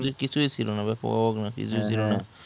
কিছুই ছিলোনা